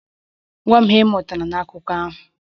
Gwa m ihe ị mụtara n'akụkọ a!